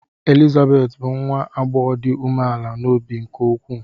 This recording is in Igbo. Elizabeth bụ nwa agbọghọ dị umeala n’obi nke ukwuu.